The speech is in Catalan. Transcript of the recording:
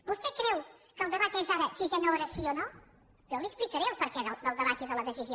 vostè creu que el debat és ara sisena hora sí o no jo li explicaré el perquè del debat i de la decisió